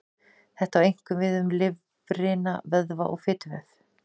Þetta á einkum við um lifrina, vöðva og fituvef.